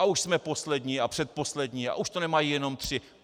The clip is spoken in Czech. A už jsme poslední a předposlední a už to nemají jenom tři.